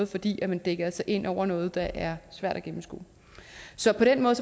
fordi man dækker sig ind under noget der er svært at gennemskue så på den måde